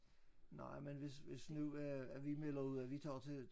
Nej men hvis hvis nu at at vi melder ud at vi tager også til